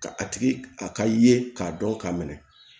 Ka a tigi a ka ye k'a dɔn k'a minɛ